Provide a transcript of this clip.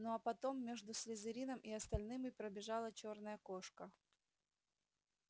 ну а потом между слизерином и остальными пробежала чёрная кошка